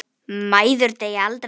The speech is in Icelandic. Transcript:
Mæður deyja aldrei.